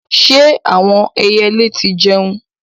Ṣé àwọn ẹyẹlé tí ń jẹun?